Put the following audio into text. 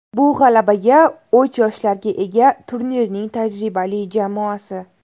Bu – g‘alabaga o‘ch yoshlarga ega turnirning tajribali jamoasi.